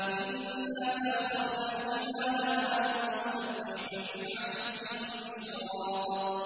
إِنَّا سَخَّرْنَا الْجِبَالَ مَعَهُ يُسَبِّحْنَ بِالْعَشِيِّ وَالْإِشْرَاقِ